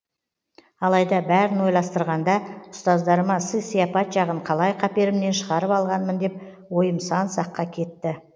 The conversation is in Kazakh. алайда бәрін ойластырғанда ұстаздарыма сый сияпат жағын қалай қаперімнен шығарып алғанмын деп ойым сан саққа кетті